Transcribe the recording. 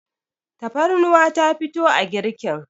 tafarnuwa ta fito a girkin